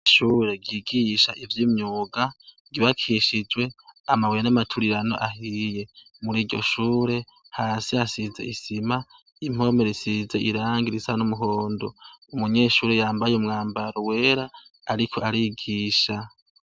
Ishure ryigisha ivy'imyuga ryubakishijwe amabuye yamaturirano ahiye, muriryoshure hasi hasize isima impome zisize irangi risa n'umuhondo, umunyeshure yambaye umwambaro wera ariko arigisha.